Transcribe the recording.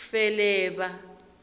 feleba